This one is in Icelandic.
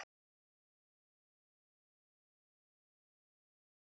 Blettir þessir hverfa ekki fyrr en að mörgum vikum liðnum og geta myndað blöðrur.